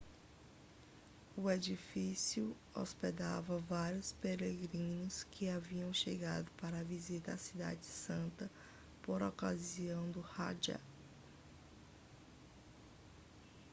o edifício hospedava vários peregrinos que haviam chegado para visitar a cidade santa por ocasião do hajj